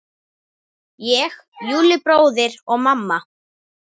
Ég, Júlli bróðir og mamma.